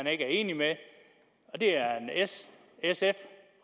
er enig med det er en s sf